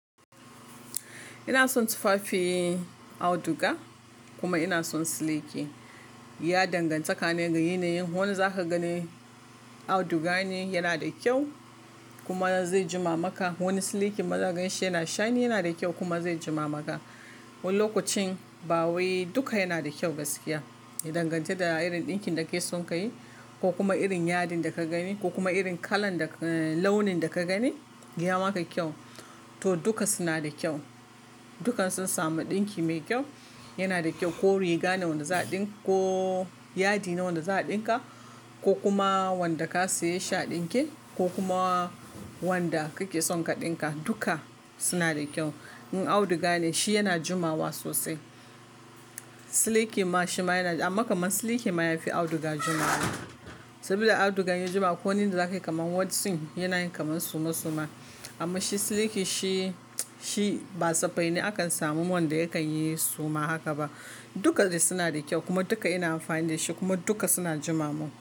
Ina son tufafin auduga kuma ina son siliki. Ya danganta ne ga yanayin, wani za ka gani auduga ne yana da kyau kuma zai jima maka. Wani siliki ma za ganshi yana shainin yana da kyau kuma zai jima maka. Wani lokacin ba wai duka yana da kyau gaskiya. Ya danganta da irin ɗinkin da kake son ka yi ko kuma irin yadin da ka gani ko kuma irin launin da ka gani ya maka kyau. To duka suna da kyau. Duka sun samu ɗinki mai kyau, yana da kyau ko riga ne wanda za a ɗinka ko yadi ne wanda za a ɗinka ko kuma wanda ka saye shi a ɗinke ko kuma wanda kake son ka ɗinka, duka suna da kyau. In auduga ne shi yana jumawa sosai. Siliki ma shi ma yana, amma kamar siliki ma yafi auduga jumawa. Saboda auduga in ya jima ko wani da zakayi kamar wotsing yana yin kamar suma suma. Amma shi siliki shi, shi ba tsappai ne akan samu wanda yakan yi suma haka ba. Duka dai suna da kyau kuma duka ina amfani da shi kuma duka suna jimamun.